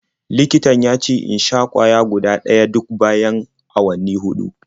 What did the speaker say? Likitan ya ce in sha ƙwaya guda ɗaya duk bayan awanni huɗu.